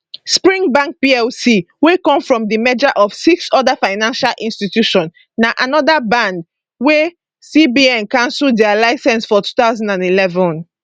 spring bank plc wey come from di merger of six oda financial institutions na anoda band wey cbn cancel dia licence for 2011